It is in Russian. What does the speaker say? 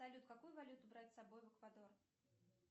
салют какую валюту брать с собой в эквадор